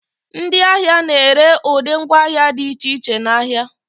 ndị ahịa na-ere ụdị ngwaahịa dị iche iche n'ahịa